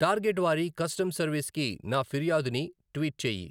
target వారి custom సర్విస్కి నా ఫిర్యాదుని ట్వీట్ చేయి